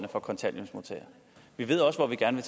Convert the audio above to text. for kontanthjælpsmodtagere vi ved også hvor vi gerne